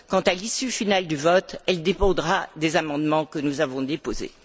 Quant à l'issue finale du vote, elle dépendra des amendements que nous avons déposés.